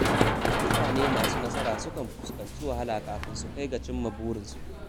Mutane masu nasara sukan fuskanci wahala kafin su kai ga cimma burinsu.